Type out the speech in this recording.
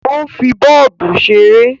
Ó ń fi bọ́ọ̀bù ṣeré